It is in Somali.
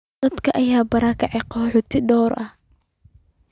Daadad ayaa barakiciyay qaxooti dhowr ah.